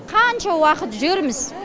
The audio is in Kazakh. қанша уақыт жүрміз